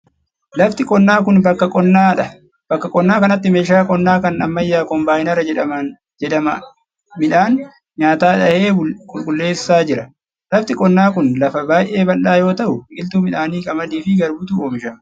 Lafti qonnaa kuni, bakka qonnaa dha. Bakka qonnaa kanatti meeshaan qonnaa kan ammayyaa koombaayinara jedhama midhaan nyaataa dhahee qulqulleessaa jira. Lafti qonnaa kun, lafa baay'ee bal'aa yoo ta'u, biqiltuu midhaanii qamadii fi garbuutu oomishamaa jira.